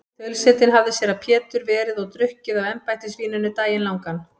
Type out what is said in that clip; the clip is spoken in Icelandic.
Þaulsetinn hafði séra Pétur verið og drukkið af embættisvíninu daginn langan.